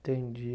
Entendi.